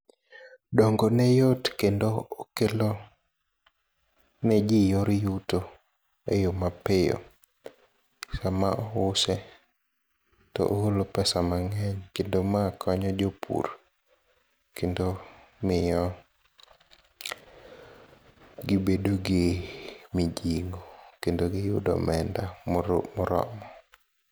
Dongone yot kendo okelo neji yor yuto eyo mapiyo, sama ouse to ogolo pesa mang'eny kendo ma konyo jopur kendo miyo gibedo gi mijingo kendo giyudo omenda moromo.